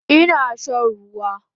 Ina shan ruwa